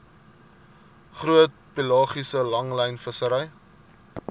groot pelagiese langlynvissery